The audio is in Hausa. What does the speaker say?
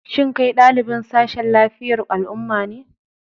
Shin kai ɗalibin sashen lafiyar al'umma ne?